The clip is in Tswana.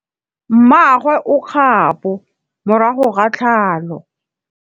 Mmagwe o kgapô morago ga tlhalô.